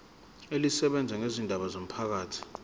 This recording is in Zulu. elisebenza ngezindaba zomphakathi